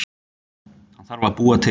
Hana þarf að búa til.